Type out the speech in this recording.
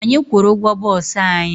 Anyị kwụru ụgwọ boosu anyị